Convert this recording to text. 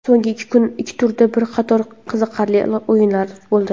So‘nggi ikki turda bir qator qiziqarli o‘yinlar bo‘ldi.